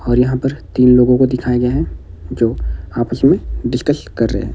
और यहाँ पर तीन लोगों को दिखाया गया है जो आपस में डिस्कस कर रहे हैं।